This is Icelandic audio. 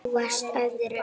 Þú varst í öðru.